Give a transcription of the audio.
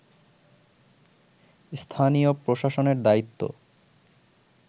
স্থানীয় প্রশাসনের দায়িত্ব